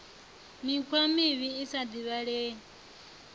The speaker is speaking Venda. mikhwa mivhi i sa divhalei